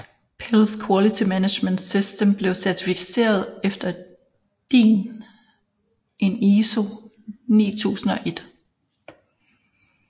Pilz Quality Management System blev certificeret efter DIN EN ISO 9001